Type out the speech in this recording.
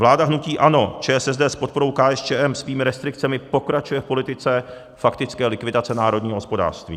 Vláda hnutí ANO, ČSSD s podporou KSČM svými restrikcemi pokračuje v politice faktické likvidace národního hospodářství.